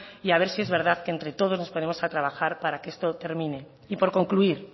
y a ver si es verdad que entre todos nos ponemos a trabajar para que esto termine y por concluir